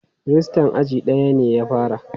Rajistan aji daya ya fara.